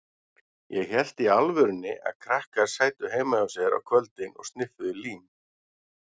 Ég hélt í alvörunni að krakkar sætu heima hjá sér á kvöldin og sniffuðu lím.